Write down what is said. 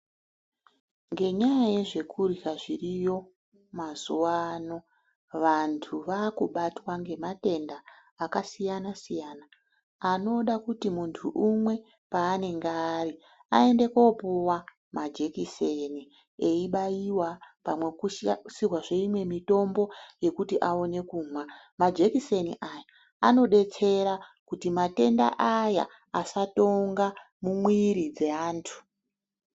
Ngenyaya yezvekurya zviriyo mazuwano, vantu vakubatwa ngematenda akasiyana-siyana, anoda kuti muntu umwe paanenge ari aende kopuwa majekiseri eibayiwa kana kukushirwa kushirwazve imwe mitombo yekuti aone kumwa. Majekiseni aya anodetsera kuti matenda aya asatonga mumwiiri dzeantu.